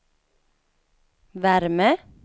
värme